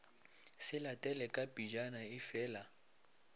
se latele ka pejana efela